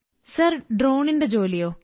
sir ഡ്രോണിന്റെ ജോലിയോ